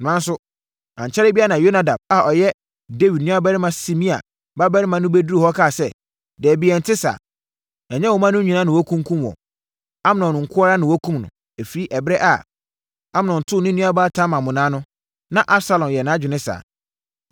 Nanso, ankyɛre biara na Yonadab a ɔyɛ Dawid nuabarima Simea babarima no bɛduruu hɔ kaa sɛ, “Dabi, ɛnte saa. Ɛnyɛ wo mma no nyinaa na wɔakunkum wɔn. Amnon nko ara na wɔakum no. Ɛfiri ɛberɛ a Amnon too ne nuabaa Tamar monnaa no, na Absalom yɛɛ nʼadwene saa.